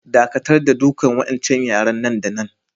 Dakatar da dukan wa'incan yara nan da nan!